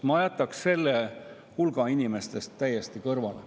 Ma jätaks selle inimeste hulga täiesti kõrvale.